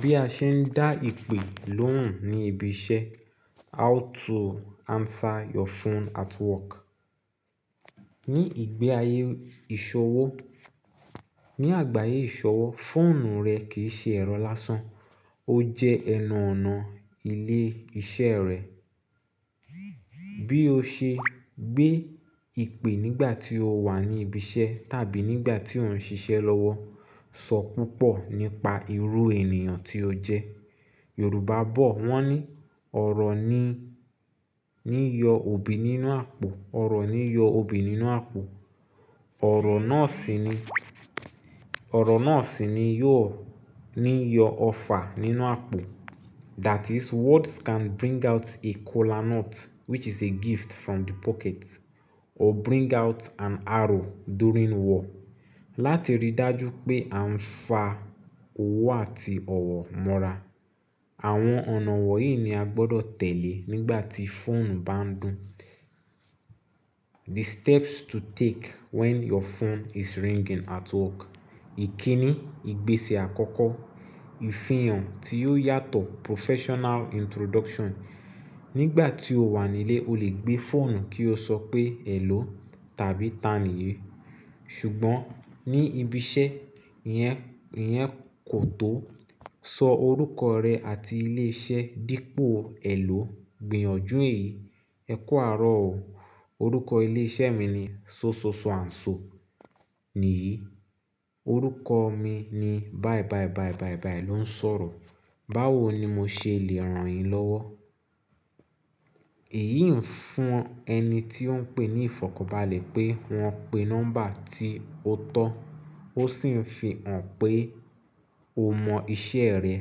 Bí a ṣe ń dá ìpè lóhùn ní ibi iṣẹ́. How to answer your phone at work. Ni ìgbé ayé ìṣọwọ́, ni àgbáyé ìsọwọ́ fóònù rẹ kì í ṣe ẹ̀rọ lásán, ó jẹ́ ẹnu ọ̀nà ilé iṣẹ́ rẹ. Bí o ṣe gbé ìpè nígbà tí o wà ní ibi iṣẹ́ tàbí nígbà tí òun ń ṣiṣẹ́ lọ́wọ́, sọ púpọ̀ nípa irú ènìyàn tí o jẹ́. Yorùbá bọ̀ wọ́n ní ọ̀rọ̀ ní, ní yọ òbí nínú àpò, ọ̀rọ̀ ní yọ òbí nínú àpò. Ọ̀rọ̀ náà sì ni, ọ̀rọ̀ náà sì ni yóò ní yọ ọfà nínú àpò. That is words can bring out a kola nut which is a gift from the pocket or bring out an arrow during war. Láti rí dájú pé a ń fa owó àti ọ̀wọ̀ mọ́ra. Àwọn ọ̀nà wọ̀nyí ni a gbọdọ̀ tẹ̀lé nígbà tí fóònù bá ń dùn. The steps to take when your phone is ringing at work. Ìkíní, ìgbésẹ̀ àkọ́kọ́, ìfihàn tí ó yàtọ̀ professional introduction. Nígbà tí o wà nílé o lè gbé fóònù kí o sọ pé hello tàbí tani èyí. Ṣùgbọ́n ní ibi iṣẹ́, ìyẹn, ìyẹn kò tó. Sọ orúkọ rẹ àti ilé iṣẹ́ dípò hello. Gbìyànjú èyí, ẹ̀kú arọ̀ o. Orúkọ ilé iṣẹ́ mi ni Sososo and So nìyí. Orúkọ mi ni Báyìí Báyìí Báyìí Báyìí Báyìí ló ń sọ̀rọ̀. Báwo ni mo ṣe lè ràn yín lọ́wọ́? Èyí ń fún ẹni tí ó ń pè ní ìfọ̀kànbalẹ̀ pé wọ́n pè nọ́mbà tí ó tọ́. Ó sì ń fi hàn pé o mọ iṣẹ́ rẹ.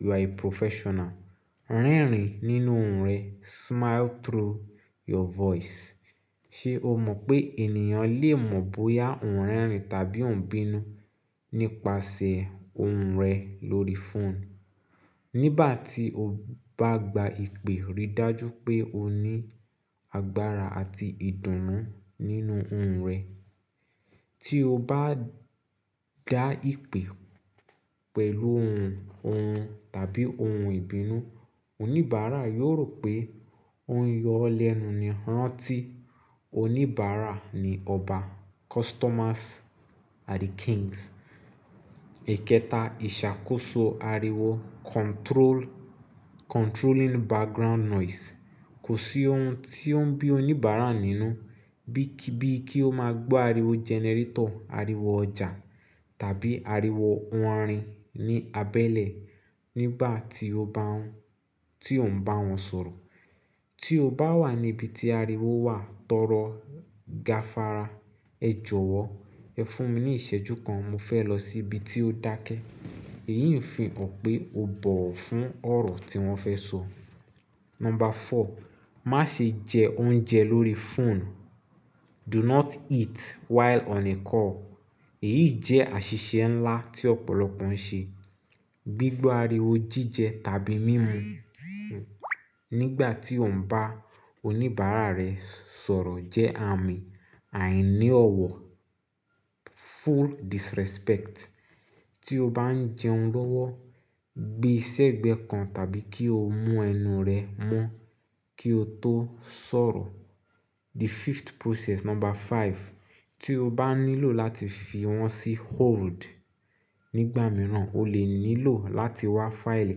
You are a professional. Rẹrin nínú ohùn rẹ. Smile through your voice. Ṣé o mọ̀ pé ènìyàn lè mọ̀ bóyá òun rẹrin tàbí òun bínú nípasẹ̀ ohùn rẹ̀ lórí phone? Nígbà tí o bá gba ìpè, rí dájú pé o ní agbára àti ìdùnnú nínú ohùn rẹ. Tí o bá gba ìpè pẹ̀lú ohùn, ohùn tàbí ohùn ìbínú, oníbàárà yóò rò pé ó ń yọ ọ́ lẹ́nu ni ráńtí. Oníbàárà ni ọba. Customers are the kings. Ìkéta, ìṣàkóso ariwo. Control, controlling background noise. Kò sí ohun tí ó ń bí oníbàárà nínú bí, bí kí ó máa gbó ariwo generator, ariwo ọjà tàbí ariwo orin ní abẹ́lé nígbà tí ó bá un, tí ó ń bá wọn sọ̀rọ̀. Tí o bá wà níbi tí ariwo wà, tọrọ gafara. Ẹ jọ̀wọ́, ẹ fún mi ní ìṣẹ́jú kan mo fẹ́ lọ sí ibi tí ó dákẹ́. Èyí ń fi hàn pé o bọ̀wọ̀ fún ọ̀rọ̀ tí wọ́n fẹ́ sọ. Number four, má ṣe jẹ oúnjẹ lórí phone. Do not eat while on a call. Èyí jẹ́ àṣìṣe ńlá tí ọ̀pọ̀lọpọ̀ ń ṣe. Gbigba ariwo jíjẹ tàbí mímu nígbà tí òun ń bá oníbàárà rẹ̀ sọ̀rọ̀ jẹ́ àmì àìní ọ̀wọ̀. Full disrespect. Tí o bá ń jẹun lọ́wọ́, gbe sẹ́gbẹ̀ẹ́ kan tàbí kí o mú ẹnu rẹ mọ́ kí o tó sọ̀rọ̀. The fifth process, number five. Tí o bá nílò láti fi wọ́n sí hold, nígbà mìíràn o lè nílò láti wá fáìlì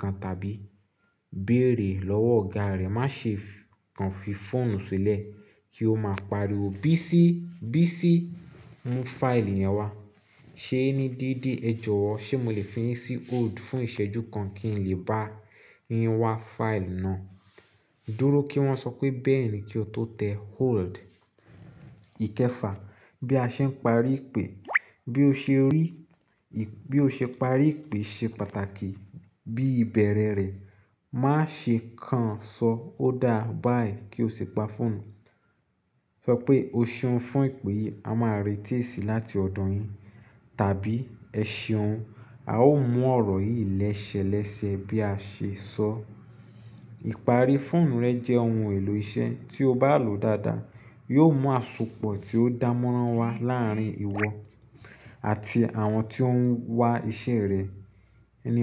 kan tàbí béèrè lọ́wọ́ ọ̀gá rẹ, má ṣe kan fi fóònù sílẹ̀ kí ó máa pariwo "Bísí, Bísí mú fáìlì yẹn wá." "Ṣé ni dédé, ẹ jọ̀wọ́, ṣe mo lè fi yín sí hold fún ìṣẹ́jú kan kí n lè bá yín wá fáìlì náà?" dúró kí wọ́n sọ pé "bẹ́ẹ̀ni" kí o tó tẹ hold. Ìkẹfà, bí a ṣe ń parí ìpè. Bí o ṣe rí, bí o ṣe parí ìpè ṣe pàtàkì bí ìbẹ̀rẹ̀ rẹ̀. Má ṣe kàn sọ "o dáa", "bye" kí o sì pa fóònù. Sọ pé "o ṣeun fún ìpè yìí, a máa retí èsìì láti ọ̀dọ̀ yín" tàbí "ẹ ṣeun, a ó mú ọ̀rọ̀ yìí lẹ́sẹlẹ́sẹ bí a ṣe sọ". Ìparí fóònù rẹ jẹ́ ohun èlò iṣẹ́ tí o bá lò dáadáa, yóò mú àsopọ̀ tí ó dán mánrán wá láàárín ìwọ àti àwọn tí ó ń wá iṣẹ́ rẹ, ènìyàn.